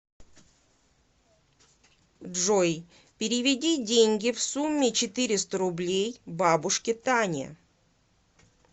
джой переведи деньги в сумме четыреста рублей бабушке тане